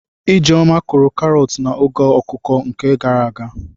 Ijeoma kụrụ karọt na oge akuku nke gara aga.